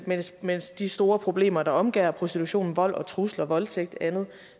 mens mens de store problemer der omgærder prostitution vold trusler voldtægt og andet